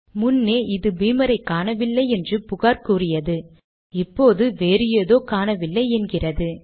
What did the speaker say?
முன்னே இது பீமரை காணவில்லை என்று புகார் கூறியது இப்போது வேறு ஏதோ காணவில்லை என்கிறது